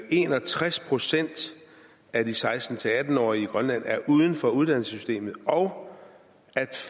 en og tres procent af de seksten til atten årige i grønland er uden for uddannelsessystemet og at